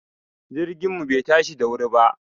Jirgin mu bai tashi da wuri ba